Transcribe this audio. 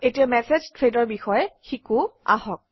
এতিয়া মেচেজ থ্ৰেডৰ বিষয়ে শিকোঁ আহক